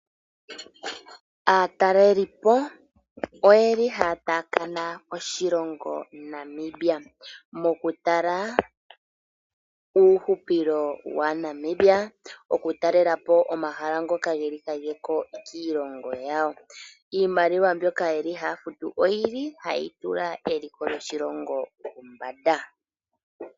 Aatalelipo oye li haya taakana oshilongo Namibia, moku tala uuhupilo waNamibia, oku talelapo omahala ngoka ge li kageko kiilongo yawo. Iimaliwa mbyoka ye li haya futu, oyi li hayi tula eliko lyoshilongo pombada.